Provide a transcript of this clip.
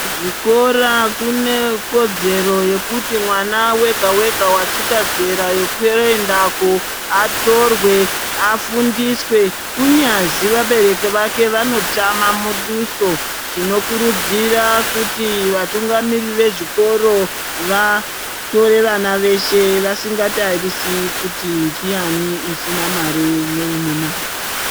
Kuzvikora kune kodzero yekuti mwana wega-wega vasvika zera rekuendako, atorwe afundiswe kunyazi vabereki vake vanotama muduso. Tinokurudzira kuti vatungamiriri vezvikoro vatore vana veshe vasinga tarisi kuti ndiyani usina mare neune mare.